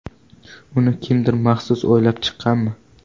Uni kimdir maxsus o‘ylab chiqqanmi?